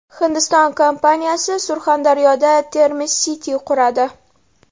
Hindiston kompaniyasi Surxondaryoda Termiz City quradi .